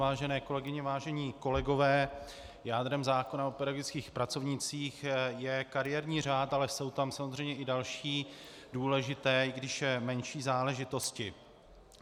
Vážené kolegyně, vážení kolegové, jádrem zákona o pedagogických pracovnících je kariérní řád, ale jsou tam samozřejmě i další důležité, i když menší záležitosti.